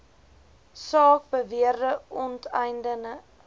saak beweerde onteiening